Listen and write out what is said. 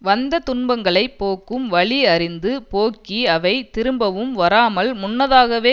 வந்த துன்பங்களை போக்கும் வழி அறிந்து போக்கி அவை திரும்பவும் வராமல் முன்னதாகவே